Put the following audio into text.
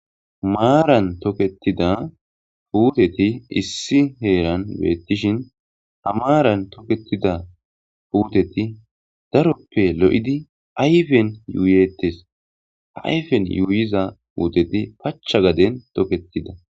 Maaran toketida huuteti issi heeran beettishin hamaaran toketida puteti daroppe lo7idi ayfen yuuyettes ayfen yuuyiza puuteti pacha gaden toketida